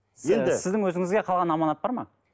сіздің өзіңізге қалған аманат бар ма